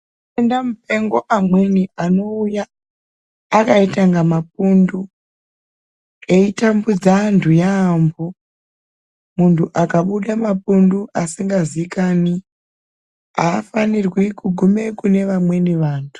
Mwendau mupengo amweni anouya akaita inga mapundu eitambudza antu yambo , muntu akabuda mapundu asingazikani aafanirwi kuguma kunevamweni vantu.